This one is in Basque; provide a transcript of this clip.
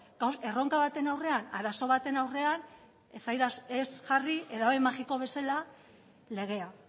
erronka baten aurrean arazo baten aurrean ez jarri edabe magiko bezala legea